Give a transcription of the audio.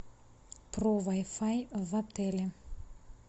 про вай фай в отеле